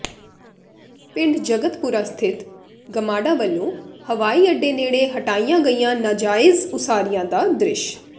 ਪਿੰਡ ਜਗਤਪੁਰਾ ਸਥਿਤ ਗਮਾਡਾ ਵੱਲੋਂ ਹਵਾਈ ਅੱਡੇ ਨੇੜੇ ਹਟਾਈਆਂ ਗਈਆਂ ਨਾਜਾਇਜ਼ ਉਸਾਰੀਆਂ ਦਾ ਦ੍ਰਿਸ਼